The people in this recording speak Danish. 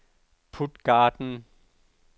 Puttgarden